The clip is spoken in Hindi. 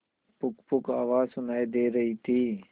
पुकपुक आवाज सुनाई दे रही थी